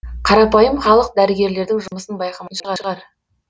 қарапайым халық дәрігерлердің жұмысын байқамайтын шығар